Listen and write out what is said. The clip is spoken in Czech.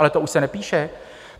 Ale to už se nepíše!